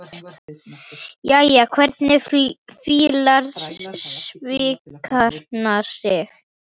Jæja, hvernig fílar skvísan sig?